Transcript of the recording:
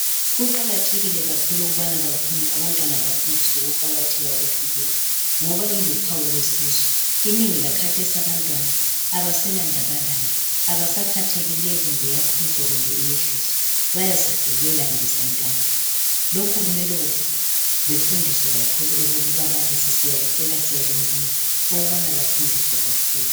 Kuqakathekile kakhulu ukubana abantwana bafundiswe ukuqakatheka kwefulegi ngoba iluphawu lwesizwe. Inengi lakhathesi abantwana abaselandaba layo. Abasakhathaleli kumbe iyakhwezwa kumbe iyehliswa Bayazidlulela nje santando. Lokhu kumele bafundiswe kakhulu ngababalisi, siyacela njalo siyalincenga ukubana bafundiswe kakhulu.